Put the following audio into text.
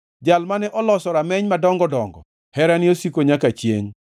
Jal mane oloso rameny madongo dongo, Herane osiko nyaka chiengʼ.